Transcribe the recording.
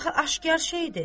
Axı aşkar şeydir.